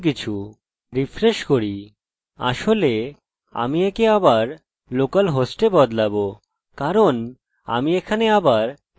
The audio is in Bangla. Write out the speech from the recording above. আসলে আমি একে আবার local host এ বদলাবো কারণ আমি এখানে আবার ট্রেকে আসছি এবং চলুন রিফ্রেশ করি